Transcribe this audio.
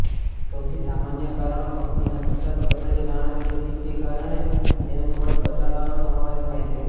સૌથી સામાન્ય કારણો કંપનીના સતત કથળી નાણાકીય સ્થિતિ કારણે તેનું કદ ઘટાડવાનો સમાવેશ થાય છે